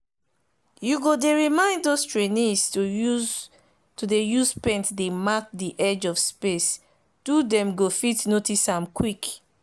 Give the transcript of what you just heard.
you go dey remind those trainees to dey use paint dey mark the edge of space do them go fit notice am quick